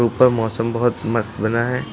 ऊपर मौसम बहुत मस्त बना है।